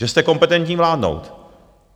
Že jste kompetentní vládnout.